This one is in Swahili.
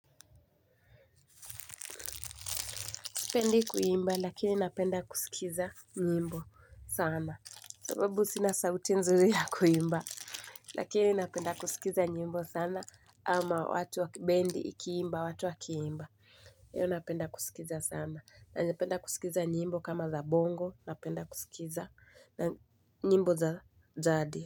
Spendi kuimba lakini napenda kusikiza nyimbo sana. Sababu sina sauti nzuri ya kuimba. Lakini napenda kusikiza nyimbo sana ama watu wakibendi ikiimba, watu wakiimba. Iyo napenda kusikiza sana. Anapenda kusikiza nyimbo kama za bongo, napenda kusikiza nyimbo za jadi.